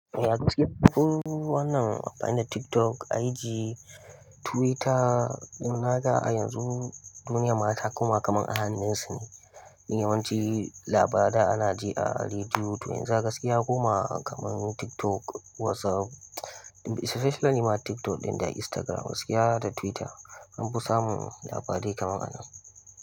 Ba gaskiya, ihmm, wannan amfani da TikTok, IG, Twitter. Naga a yanzu duniyan ma ta koma kaman a hannunsu ne. Ni yawanci labarai ana ji a rediyo, to yanzu a gaskiya ya koma kaman TikTok, WhatsApp, especially ma TikTok ɗin da Instagram, gaskiya da Twitter, anfi samun labarai kaman a nan.